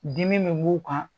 Dimi min b'u kan